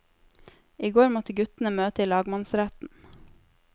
I går måtte guttene møte i lagmannsretten.